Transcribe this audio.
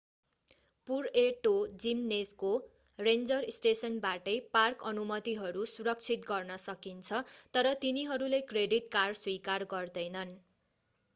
Puerto जिमनेजको ranger स्टेसनबाटै park अनुमतिहरू सुरक्षित गर्न सकिन्छ तर तिनीहरूले क्रेडिट कार्ड स्वीकार गर्दैनन्